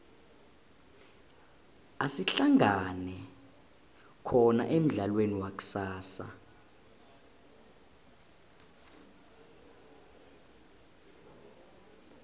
asihlangane khona emudlalweni wakusasa